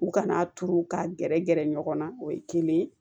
U kana turu ka gɛrɛ gɛrɛ ɲɔgɔn na o ye kelen ye